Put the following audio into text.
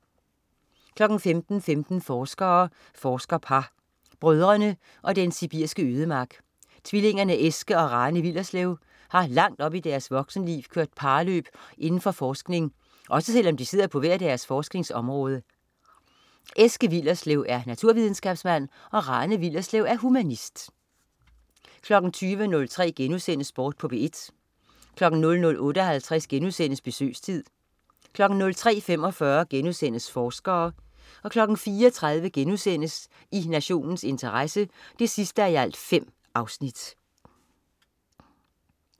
15.15 Forskere. Forskerpar. Brødrene og den sibiriske ødemark. Tvillingerne Eske og Rane Willerslev har langt op i deres voksenliv kørt parløb inden for forskning, også selv om de sidder på hver deres forskningsområde. Eske Willerslev er naturvidenskabsmand, Rane Willerslev er humanist 20.03 Sport på P1* 00.58 Besøgstid* 03.45 Forskere* 04.30 I nationens interesse 5:5*